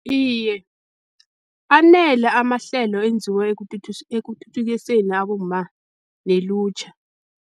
Iye, anele amahlelo enziwe ekuthuthukiseni abomma nelutjha.